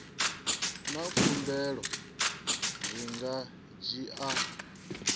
na khumbelo zwi nga dzhia